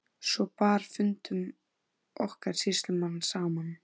Svo bar fundum okkar sýslumanns saman.